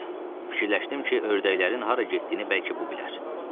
Fikirləşdim ki, ördəklərin hara getdiyini bəlkə bu bilər.